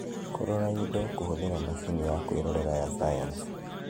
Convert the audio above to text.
kũrora indo kũhũthĩra macini ya kwĩrorera ya sayansi